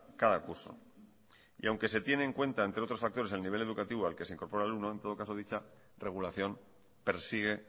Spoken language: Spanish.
cada curso y aunque se tiene en cuenta entre otros factores el nivel educativo al que se incorpora el alumno en todo caso dicha regulación persigue